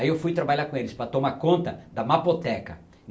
Aí eu fui trabalhar com eles para tomar conta da mapoteca.